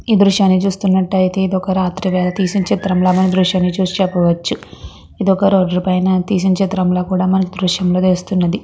ఈ దృశ్యాన్ని చూస్తున్నటైతే ఇది ఒక రాత్రి పూత తీసిన దృశ్యం అని చూపొచ్చు ఇది మనకి దృశ్యం లో తెలుస్తున్నది .